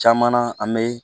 Caman na an bɛ